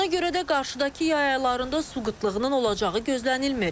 Ona görə də qarşıdakı yay aylarında su qıtlığının olacağı gözlənilmir.